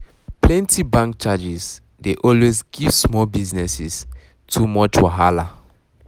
plenty um bank charges dey always um give small businesses too much um wahala